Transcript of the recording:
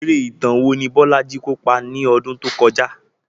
Eré ìtàn wo ni Bolaji kópa ní ọdún tó kọjá?